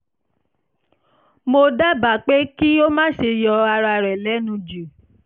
mo dábàá pé kí o má ṣe yọ ara rẹ lẹ́nu jù